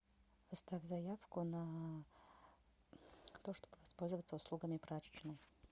оставь заявку на то чтобы воспользоваться услугами прачечной